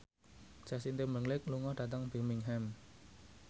Justin Timberlake lunga dhateng Birmingham